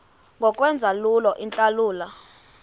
ngokwenza lula iintlawulo